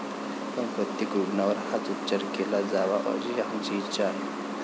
पण, प्रत्येक रुग्णावर हाच उपचार केला जावा अशी आमची इच्छा आहे.